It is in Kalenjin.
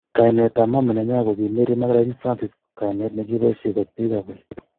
kainet ab mama nenywa koki Mary magdalene Francis kainet nekiposhei kot pik ab olik